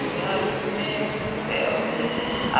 Ai, meu Deus do céu!